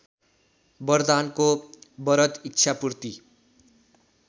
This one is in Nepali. वरदानको वरद इच्छापूर्ति